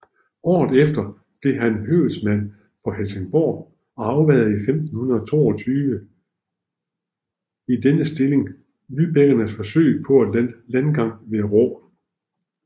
Året efter blev han høvedsmand på Helsingborg og afværgede 1522 i denne stilling lybækkernes forsøg på landgang ved Råå